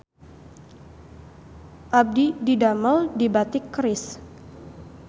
Abdi didamel di Batik Keris